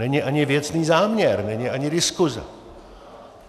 Není ani věcný záměr, není ani diskuse.